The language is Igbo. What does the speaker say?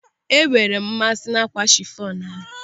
I enweere m mmasị n'ákwà chifọn ahụ.